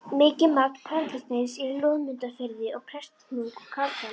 Mikið magn perlusteins er í Loðmundarfirði og Prestahnúk á Kaldadal.